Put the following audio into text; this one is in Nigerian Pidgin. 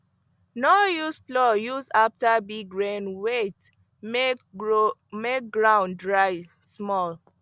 no use plow just after big rain wait make ground dry small